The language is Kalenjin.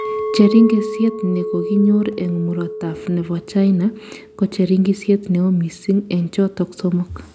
Cheringisyet ne koginyor eng murotai nebo China ko cheringisyet neoo missing eng chotok somok